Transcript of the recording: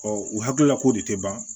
u hakilila ko de tɛ ban